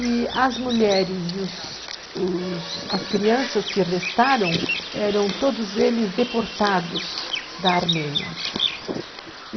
E as mulheres e os, as crianças que restaram eram todos eles deportados da Armênia.